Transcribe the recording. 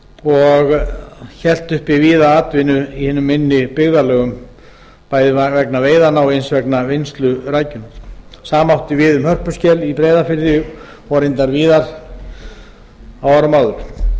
og hélt uppi víða atvinnu í hinum minni byggðarlögum bæði vegna veiðanna og eins vegna vinnslu rækjunnar sama átti við um hörpuskel í breiðafirði og reyndar víðar á árum áður